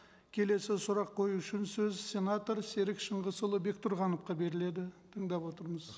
келесі сұрақ қою үшін сөз сенатор серік шыңғысұлы бектұрғановқа беріледі тыңдап отырмыз